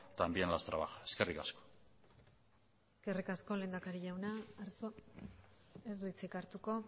también las trabaja eskerrik asko eskerrik asko lehendakari jauna arzuagak ez du hitzik hartuko